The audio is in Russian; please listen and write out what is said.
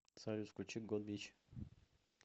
салют включи гот бич